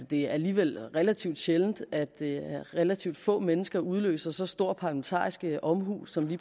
det er alligevel relativt sjældent at relativt få mennesker udløser så stor parlamentarisk omhu som det